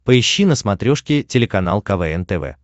поищи на смотрешке телеканал квн тв